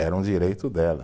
Era um direito dela.